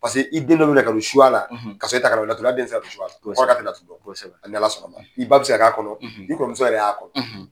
i den dɔ bena ka don suya la, kasɔrɔ e t'a kalama. Laturudala den te se ka don suya la. Kosɛbɛ .ko hal'a te latutu dɔn. Kosɛbɛ. N'Ala sɔnn'a ma. I ba be se ka k'a kɔnɔ, i kɔrɔmuso yɛrɛ y'a kɔnɔ.